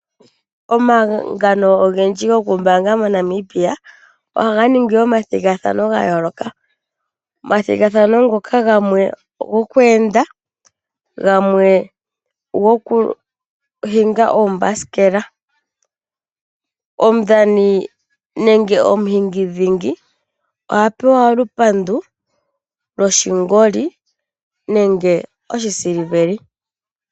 Omahangano ogendji gokumbaanga moNamibia oha ga ningi omathigathano ogendji ya yooloka. Omathigathano gamwe ngoka ogo ku enda, gamwe ogo ku hinga oombasikela. Omudhani nenge omuhingidhingi ohe pewa olupandu loshingoli nenge oshisiliveli.